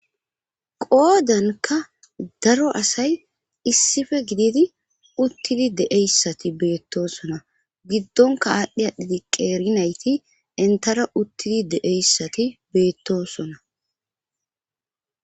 Qoodankka daro asay issife gididi uttidi de7eyssati beettosona giddonka aadhdhi aadhidi qeerinayti entara uttidi de7eyssati beettosona.